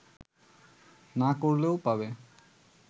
না করলেও পাবে